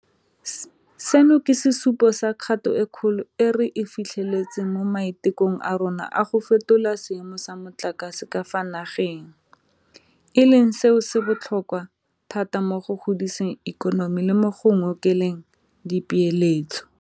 Seno ke sesupo sa kgato e kgolo e re e fitlheletseng mo maitekong a rona a go fetola seemo sa motlakase ka fa nageng, e leng selo se se botlhokwa thata mo go godiseng ikonomi le mo go ngokeleng dipeeletso.